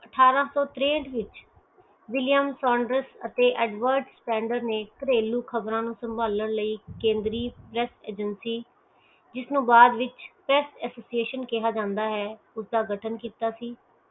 ਮਹਾਦੇਵ ਦੀਆ ਖ਼ਬਰਾਂ ਵਿਚ ਵਿਸ਼ੇਸਤਾ ਰੱਖਦੇ ਹੂਏ ਅਠਾਰਸੋ ਤਰੇਂਠ ਵਿਚ ਵਿਲੀਅਮ ਸੋਂਦਰਸ ਅਤੇ ਅਡਵੇਰਤ ਸਟੈਂਡਰਡ ਨੇ ਘਰੇਲੂ ਖ਼ਬਰਾਂ ਨੂੰ ਸੰਭਾਲਣ ਲਈ ਕੇਂਦਰੀ ਰੇਡ ਏਜੇਂਸੀ ਜਿਸ ਨੂੰ ਬਾਅਦ ਵਿਚ ਪੇਸਟ ਐਸੋਸੀਅਸ਼ਨ ਕਿਆ ਜਾਂਦਾ ਹੈ ਉਸਦਾ ਗਠਨ ਕੀਤਾ ਸੀ